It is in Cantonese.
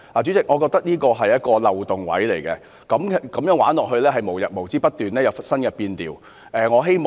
主席，我覺得這是一個漏洞，如果這樣繼續下去，便會無日無之不斷有新的變調。